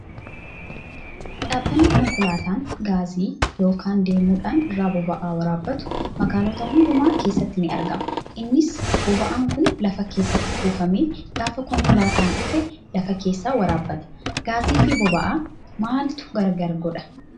Dhaabbanni konkolaataan gaazii yookaan deemuudhaan irraa boba'aa waraabbatu magaalota hundumaa keessatti ni argama. Innis boba'aan kun lafa keessatti kuufamee gaafa konkolaataan dhufe lafa keessaa waraabbata. Gaazii fi boba'aa maaltu gargar godhaa?